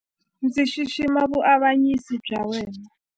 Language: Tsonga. Ndzi xixima vuavanyisi bya yena.